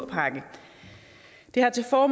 går